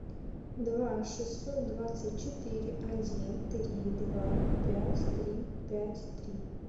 два шестьсот двадцать четыре один три два пять три пять три